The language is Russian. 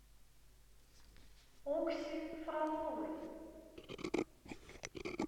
окси фроловой